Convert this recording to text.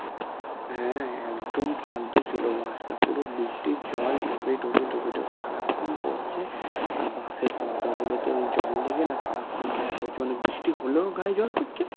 হ্যাঁ একদম ফালতু ছিল bus টা পুরো বৃষ্টির জল টোপে টোপে টোপে টোপে সারাক্ষণ পড়ছে আর bus এর পর্দা গুলো তে ওই জল লেগে না সারাক্ষন জল পড়ছে মানে বৃষ্টি হলেও গায়ে জল পড়ছে